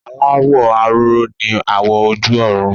Aláwọ̀ aró ni àwọ̀ ojú ọ̀run